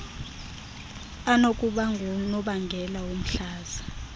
anokuba ngunobangela womhlaza